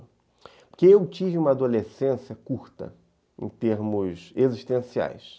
Porque eu tive uma adolescência curta em termos existenciais.